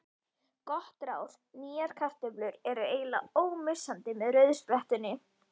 Gott ráð: Nýjar kartöflur eru eiginlega ómissandi með rauðsprettunni.